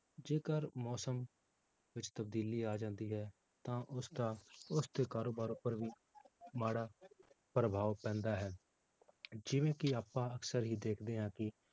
ਜੇਕਰ ਮੌਸਮ ਵਿੱਚ ਤਬਦੀਲੀ ਆ ਜਾਂਦੀ ਹੈ, ਤਾਂ ਉਸਦਾ ਉਸਦੇ ਕਾਰੋਬਾਰ ਉੱਪਰ ਵੀ ਮਾੜਾ ਪ੍ਰਭਾਵ ਪੈਂਦਾ ਹੈ, ਜਿਵੇਂ ਕਿ ਆਪਾਂ ਅਕਸਰ ਹੀ ਦੇਖਦੇ ਹਾਂ ਕਿ